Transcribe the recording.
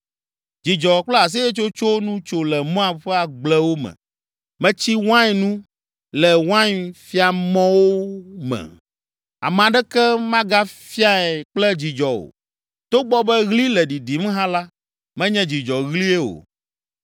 Dzidzɔ kple aseyetsotso nu tso le Moab ƒe agblewo me. Metsi wain nu le wainfiamɔwo me, ame aɖeke magafiae kple dzidzɔ o. Togbɔ be ɣli le ɖiɖim hã la, menye dzidzɔɣlie o.